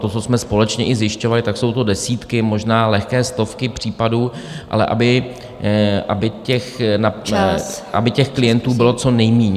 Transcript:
To, co jsme společně i zjišťovali, tak jsou to desítky, možná lehké stovky případů, ale aby těch klientů bylo co nejméně.